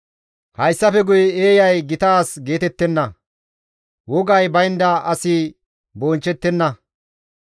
Hayssafe guyen eeyay gita as geetettenna; wogay baynda asi bonchchettenna.